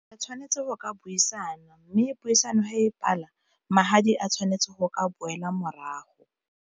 A tshwanetse go ka buisana, mme puisano e patala magadi a tshwanetse go ka boela morago.